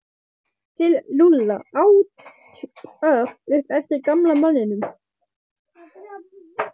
Til Lúlla? át Örn upp eftir gamla manninum.